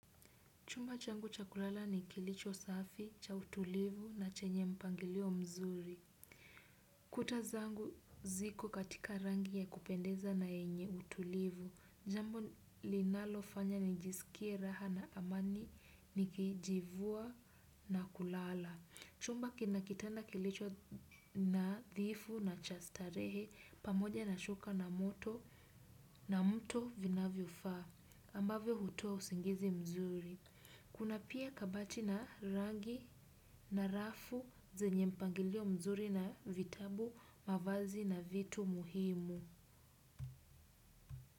Chumba changu cha kulala ni kilicho safi cha utulivu na chenye mpangilio mzuri. Kuta zangu ziko katika rangi ya kupendeza na yenye utulivu. Jambo linalofanya nijisikie raha na amani nikijivua na kulala. Chumba kina kitanda kilicho nadhifu na cha starehe pamoja na shuka na moto na mto vinavyofaa. Ambavyo hutoa usingizi mzuri. Kuna pia kabati na rangi na rafu zenye mpangilio mzuri na vitabu mavazi na vitu muhimu.